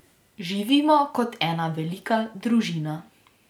Živimo kot ena velika družina.